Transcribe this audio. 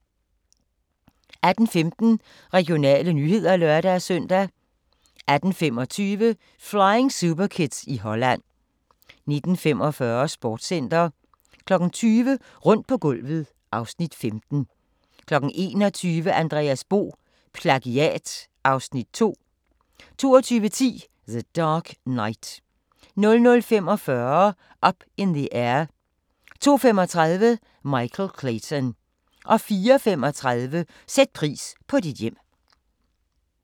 18:15: Regionale nyheder (lør-søn) 18:25: Flying Superkids i Holland 19:45: Sportscenter 20:00: Rundt på gulvet (Afs. 15) 21:00: Andreas Bo – PLAGIAT (Afs. 2) 22:10: The Dark Knight 00:45: Up in the Air 02:35: Michael Clayton 04:35: Sæt pris på dit hjem